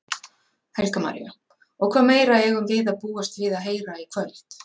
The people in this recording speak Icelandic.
Helga María: Og hvað meira eigum við að búast við að heyra í kvöld?